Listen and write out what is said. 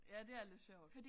Ja det er lidt sjovt